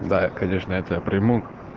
да я конечно это приму